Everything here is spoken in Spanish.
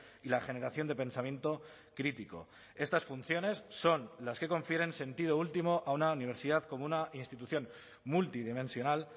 y la generación de pensamiento crítico estas funciones son las que confieren sentido último a una universidad como una institución multidimensional